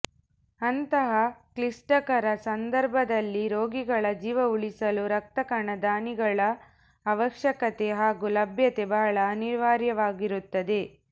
ಅಂತಹ ಕ್ಲಿಷ್ಟಕರ ಸಂದರ್ಭದಲ್ಲಿ ರೋಗಿಗಳ ಜೀವ ಉಳಿಸಲು ರಕ್ತಕಣ ದಾನಿಗಳ ಅವಶ್ಯಕತೆ ಹಾಗೂ ಲಭ್ಯತೆ ಬಹಳ ಅನಿವಾರ್ಯವಾಗಿರುತ್ತದೆ